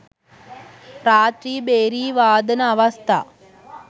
රාත්‍රී භේරි වාදන අවස්ථා